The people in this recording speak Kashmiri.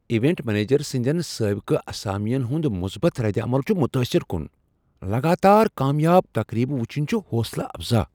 ایونٹ منیجر سٕنٛدین سابقہ اسامین ہنٛد مُثبت ردعمل چھُ متٲثِر کُن ۔ لگاتار کامیاب تقریب وُچھن چھِ حوصلہ افزا۔